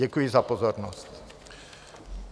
Děkuji za pozornost.